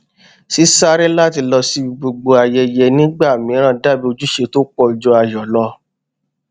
sísáré láti lọ sí gbogbo ayẹyẹ nígbà mìíràn dàbí ojúṣe tó pọ ju ayọ lọ